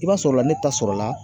I b'a sɔrɔla ne ta sɔrɔla